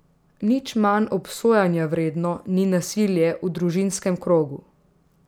Nič manj obsojanja vredno ni nasilje v družinskem krogu.